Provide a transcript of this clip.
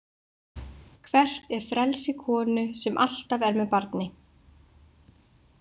Hvert er frelsi konu sem alltaf er með barni?